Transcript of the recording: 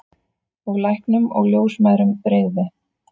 Og læknum og ljósmæðrum brygði.